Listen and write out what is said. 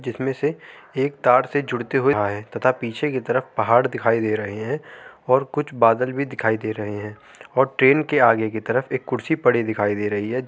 जिसमें से एक तार से जुडते हुए आ रहे है तथा पीछे की तरफ पहाड़ दिखाइ दे रहे हैं और कुछ बादल भी दिखाई दे रहे हैं और ट्रेन की आगे तरफ एक कुर्सी पड़ी दिखाई दे रही है जो --